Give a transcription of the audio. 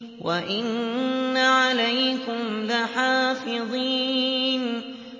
وَإِنَّ عَلَيْكُمْ لَحَافِظِينَ